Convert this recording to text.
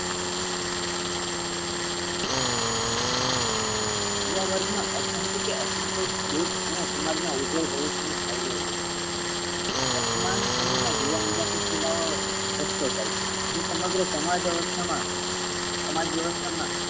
યુવા વર્ગ મા અશાંતિ કે અસંતોષ દેખ અને સમાજ ના ઉજવળ ભવિષ્ય ને અવરોધે છે. વર્તમાન સમય મા યુવા અંજપણ દેખાઈ છે. તે સમગ્ર સમાજ અવસ્થા મા સમાજ વ્યવસ્થા મા